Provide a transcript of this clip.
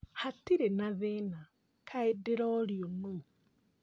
Hatirĩ na thĩna, kaĩ ndĩrorio nũũ?